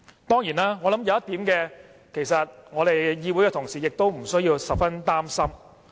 當然，我覺得有一點，我們議會的同事無須擔心。